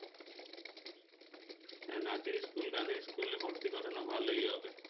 হ্যাঁ নাচের school গানের school ভর্তি করানো ভালই হবে